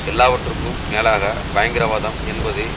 எல்லாவற்றுக்கும் மேலாக பயங்கரவாதம் என்பது